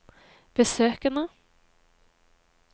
besøkene